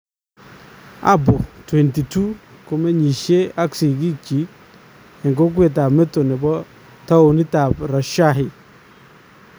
Apo , 22 , komenyisyee ak sikiik chik en kokweetab metoo nebo towunitab Rajshahi .